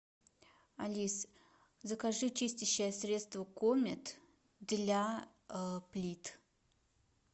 алис закажи чистящее средство комет для плит